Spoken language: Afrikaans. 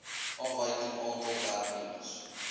afwyking aantal werknemers